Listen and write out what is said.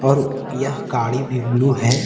और यह गाड़ी भी ब्लू है।